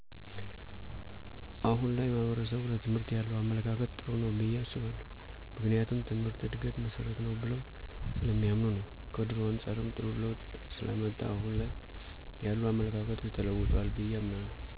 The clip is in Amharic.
አሁን ላይ ማሕበረሰቡ ለትምህርት ያለው አመለካከት ጥሩ ነው ብየ አስባለሁ ምክንያቱም ትምህርት የእድገት መሠረት ነው ብለው ስለሚያምኑ ነው ከድሮው አንጻርም ጥሩ ለውጥ ስላመጣ አሁን ላይ ያሉ አመለካከቶች ተለውጠዋል ብየ አምናለሁ።